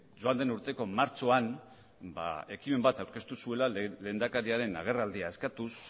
joan den urteko martxoan ekimen bat aurkeztu zuela lehendakariaren agerraldia eskatuz